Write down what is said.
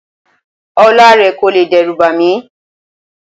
Ọlá rẹ kò lè dẹ́rùbà mí.